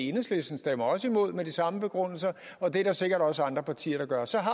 enhedslisten stemmer også imod med de samme begrundelser og det er der sikkert også andre partier der gør så har